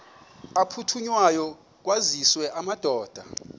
aphuthunywayo kwaziswe amadoda